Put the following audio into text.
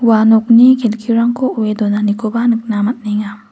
ua nokni kelkirangko o·e donanikoba nikna man·enga.